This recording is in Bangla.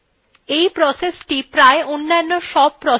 এই processthe প্রায় অন্যান্য সব processএর জন্ম দেয